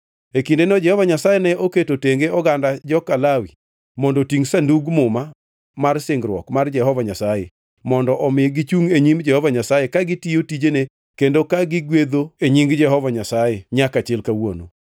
E kindeno Jehova Nyasaye ne oketo tenge oganda joka Lawi mondo otingʼ Sandug Muma mar singruok mar Jehova Nyasaye, mondo omi gichungʼ e nyim Jehova Nyasaye ka gitiyo tijene kendo ka gigwedho e nying Jehova Nyasaye nyaka chil kawuono.